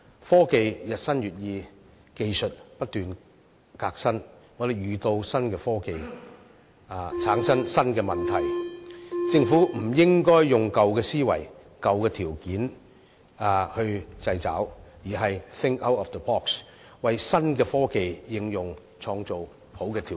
科技日新月異，技術不斷革新，當我們遇到新科技時，會產生新的問題，政府不應該以舊思維、舊條例作出掣肘，而是要 "think out of the box"， 為新科技的應用創造好的條件。